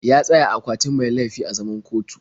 Ya tsaya a akwatin mai laifi a zaman kotun.